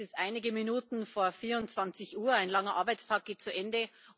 Es ist einige Minuten vor 24 Uhr, ein langer Arbeitstag geht zu Ende.